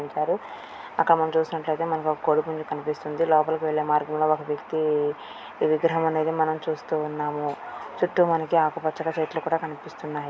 ఉంచారు అక్కడ మనం చూసినట్లయితే మనకు ఒక కనిపిస్తుంది లోపలి వెళ్లే మార్గం లాగా ఒక వ్యక్తి ఈ విగ్రహం అనేది మనము చూస్తూ ఉన్నాము చుట్టూ మనకు ఆకుపచ్చని చెట్లు కూడా కనిపిస్తున్నాయి.